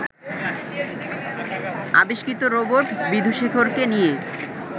আবিষ্কৃত রোবট বিধুশেখরকে নিয়ে